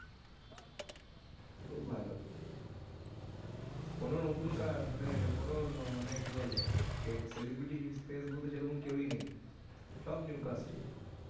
খুব ভালো কোন নতুন কা মানে কোন মানে কি বলে celebrity face বলতে সেরকম কেওই নেই, সব new casting